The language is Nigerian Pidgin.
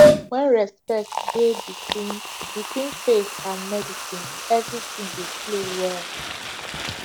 when respect dey between between faith and medicine everything dey flow well